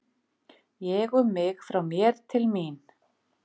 Ég um mig frá mér til mín.